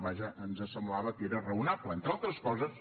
vaja ens semblava que era raonable entre altres coses